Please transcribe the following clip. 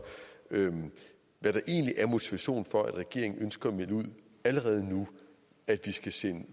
hvad der egentlig er motivationen for at regeringen ønsker at melde ud at vi skal sende